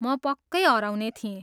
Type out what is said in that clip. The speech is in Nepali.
म पक्कै हराउने थिएँ।